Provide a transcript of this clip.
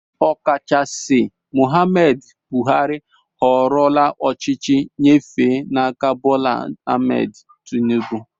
Okachaisi Mohammed Buhari họọrọ ochichi nyefe n'áká Bola Ahmed Tinibu